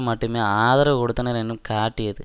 மட்டுமே ஆதரவு கொடுத்தனர் என்னும் காட்டியது